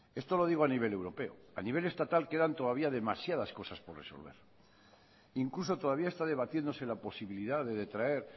esto lo digo a nivel europeo a nivel estatal quedan todavía demasiadas cosas por resolver incluso todavía está debatiéndose la posibilidad de detraer